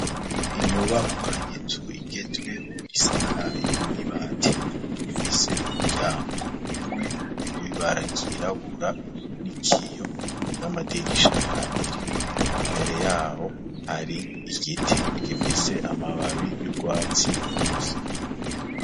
Inyubakwa y'inzu igezweho isakaye n'ibati ifise umuryango umwe w'ibara ry'irabura n'ikiyo n'amadirisha abiri imbere yaho hari igiti gifise amababi y'urwatsi rubisi.